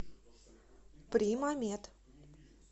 примамед